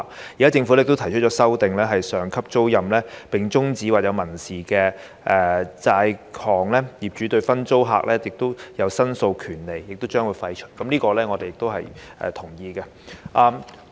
現在政府也提出修訂，在上級租賃終止或存在民事債項時，業主對分租客提出申索的權利將予廢除，我們也同意這點。